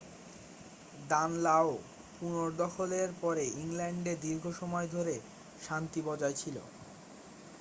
দানলাও পুনর্দখলের পরে ইংল্যান্ডে দীর্ঘ সময় ধরে শান্তি বজায় ছিল